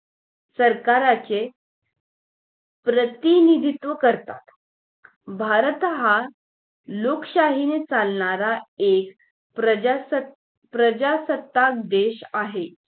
सरकारचे प्रतिनिधित्व करतात भारत हा लोकशाहीने चालणार एक प्रजासत प्रजासत्ताक देश आहे